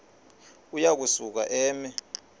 uya kusuka eme